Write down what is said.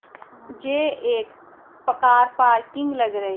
जे एक पकार पार्किंग लग रही--